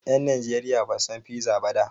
Ƴan Najeriya Basu san piza ba da.